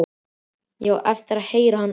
Ég á eftir að heyra hann aftur.